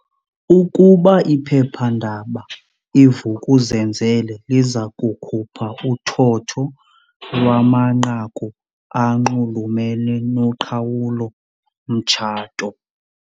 Ukuba iphephandaba i-Vuk'uzenzele liza kukhupha uthotho lwamanqaku anxulumene noqhawulo-mtshato?